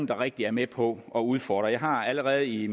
rigtig var med på at udfordre jeg har allerede i